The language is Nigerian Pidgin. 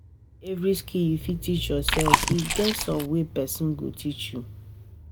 No be every skill you fit teach yoursef, e get some wey pesin go teach you.